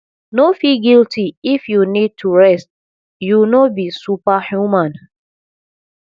no feel guilty if you need to rest you no be super human